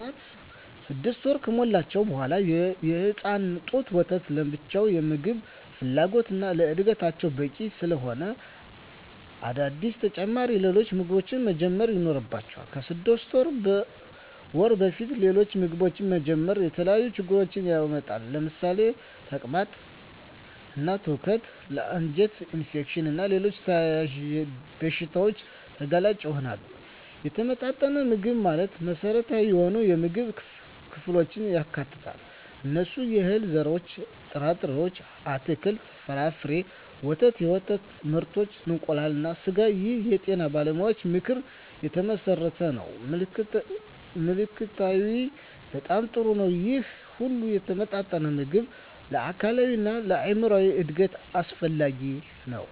ህፃናት 6 ወር ከሞላቸው በዋላ የእናት ጡት ወተት ለብቻው የምግብ ፍላጎታቸውን እና ለዕድገታቸው በቂ ስላለሆነ አዳዲስ ተጨማሪ ሌሎች ምግቦችን መጀመር ይኖርባቸዋል። ከ6 ወር በፊት ሌሎች ምግቦችን መጀመር የተለያዩ ችግሮችን ያመጣል ለምሳሌ ተቅማጥ እና ትውከት ለ አንጀት ኢንፌክሽን እና ሌሎች ተያያዝ በሺታዎች ተጋላጭ ይሆናሉ። የተመጣጠነ ምግብ ማለት መሰረታዊ የሆኑ የምግብ ክፍሎችን ያካትታል። እነሱም፦ የእህል ዘርሮች እና ጥርጣሬ፣ አትክልት እና ፍራፍሬ፣ ወተት እና የወተት ምርቶች፣ እንቁላል እና ስጋ ይህ የጤና ባለሙያዎች ምክር የተመሠረተ ነው። ምልከታዬ በጣም ጥሩ ነው ይህ ሁሉ የተመጣጠነ ምግብ ለአካላዊ እና ለአይምራዊ እድገት አስፈላጊ ነው።